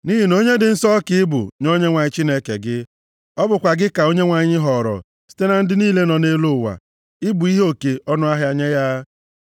Nʼihi na onye dị nsọ ka ị bụ nye Onyenwe anyị Chineke gị. Ọ bụkwa gị ka Onyenwe anyị họọrọ site na ndị niile nọ nʼelu ụwa, ị bụ ihe oke ọnụahịa nye ya.